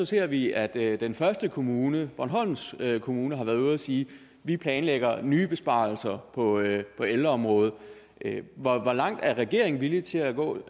ser vi at den første kommune bornholms kommune har været ude at sige vi planlægger nye besparelser på ældreområdet hvor langt er regeringen villig til at gå